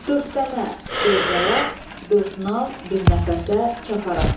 Dördtəmə, dörd ayaq, dörd nal, bir nəfəsə çapparaq.